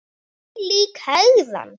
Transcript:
Þvílík hegðan!